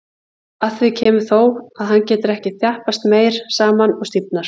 Að því kemur þó, að hann getur ekki þjappast meira saman og stífnar.